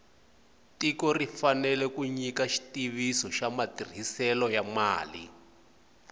tiko ri fanele ku nyika xitiviso xa matirhiselo ya mali